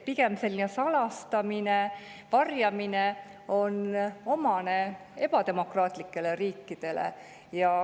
Salastamine ja varjamine on pigem omane ebademokraatlikele riikidele.